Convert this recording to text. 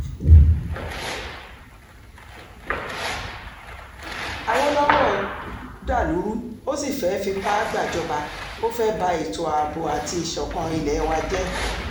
àwòlọ́wọ́ dàlú rú ó sì fẹ́ẹ́ fipá gbàjọba ó fẹ́ẹ́ ba ètò ààbò àti ìṣọ̀kan ilé wa jẹ́